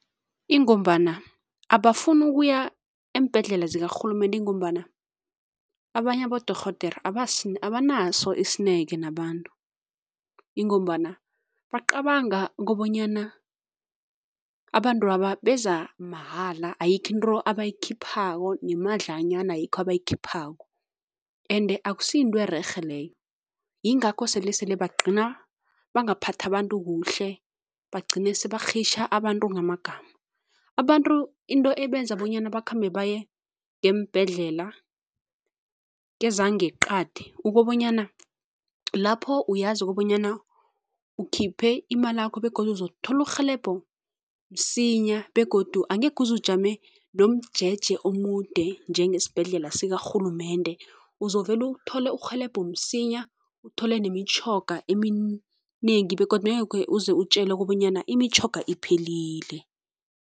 Ingombana abafuni ukuya eembhedlela zikarhulumende ingombana abanye abodorhodere abanaso isineke nabantu ingombana bacabanga kobanyana abantwaba beza mahala, ayikho into abayikhiphako, nemadlanyana ayikho abayikhiphako ende akusiyinto ererhe leyo yingakho selesele bagcina bangaphathi abantu kuhle, bagcine sebarhitjha abantu ngamagama. Abantu into ebenze bonyana bakhambe baye ngeembhedlela kezangeqadi ukobanyana lapho uyazi kobanyana ukhiphe imalakho begodu uzokuthola urhelebho msinya begodu angekhe uze ujame nomjeje omude njengesibhedlela sikarhulumende, uzovule uthole irhelebho msinya, uthole nemitjhoga eminengi begodu bengekhe uze utjelwe kobanyana imitjhoga iphelile.